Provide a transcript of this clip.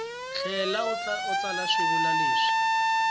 tlhela u tsala xivulwa lexi